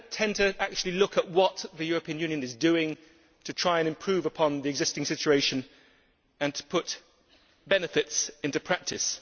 They do not tend to actually look at what the European Union is doing to try and improve upon the existing situation and to put benefits into practice.